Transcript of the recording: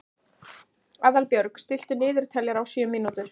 Aðalbjörg, stilltu niðurteljara á sjö mínútur.